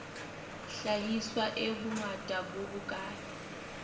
hlahiswa e bongata bo bokae